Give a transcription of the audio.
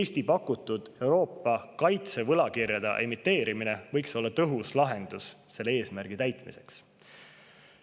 Eesti pakutud Euroopa kaitsevõlakirjade emiteerimine võiks olla tõhus viis selle eesmärgi täitmiseks.